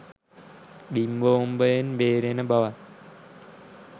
බිම් බෝම්බයෙන් බේරෙන බවත්.